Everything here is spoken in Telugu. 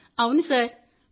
అవును సార్